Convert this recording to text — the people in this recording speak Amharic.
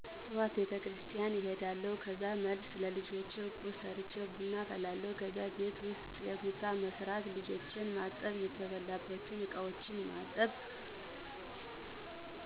ጠዋት ቤቴክርስትያን እሄዳለሁ ከዛ መልስ ለልጀ ቁርስ ሰርቼ ቡና አፈላለሁ ከዛም ቤት ውስጥ ምሳ መስራት ልጅ ማጠብ የተበላባቸውን እቃዎች ማጠብ